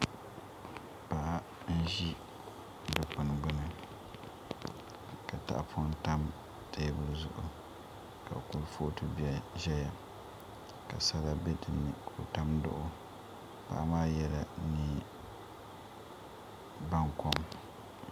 Paɣa n ʒi dikpuni gbuni ka tahapoŋ tam teebuli zuɣu ka kurifooti ʒɛya ka sala bɛ dinni ka o tam duɣu paɣa maa yɛla neen baŋkom